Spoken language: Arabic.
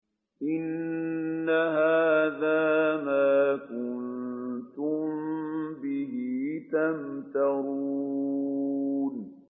إِنَّ هَٰذَا مَا كُنتُم بِهِ تَمْتَرُونَ